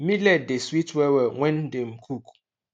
millet dey sweet wellwell when dem cook